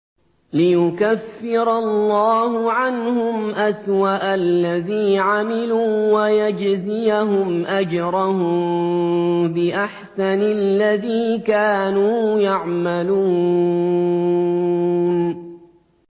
لِيُكَفِّرَ اللَّهُ عَنْهُمْ أَسْوَأَ الَّذِي عَمِلُوا وَيَجْزِيَهُمْ أَجْرَهُم بِأَحْسَنِ الَّذِي كَانُوا يَعْمَلُونَ